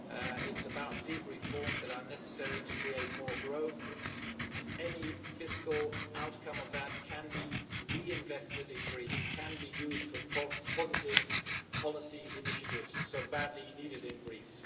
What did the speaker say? it is about deep reforms that are necessary to create more growth, and any fiscal outcome of that can be reinvested in Greece and used for the positive policy initiatives so badly needed in Greece.